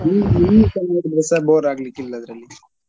ಈ~ ಈಗಲೂ ನೋಡಿದ್ರೆ ಸಹ bore ಆಗ್ಲಿಕ್ಕೆ ಇಲ್ಲ ಅದ್ರಲ್ಲಿ.